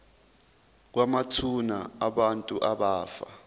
kwamathuna abantu abafa